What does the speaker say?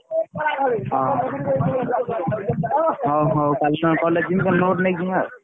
ହଁ ହଁ ହଉ କାଲି ନହେଲେ college ଯିବି କାଲି note ନେଇକି ଯିମି ଆଉ।